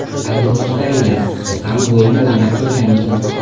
Aziz mushtariylar, siz ham bu o‘yinni o‘ynab ko‘rganmisiz?